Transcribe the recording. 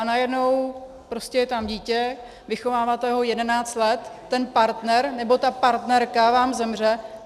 A najednou prostě je tam dítě, vychováváte ho 11 let, ten partner nebo ta partnerka vám zemře...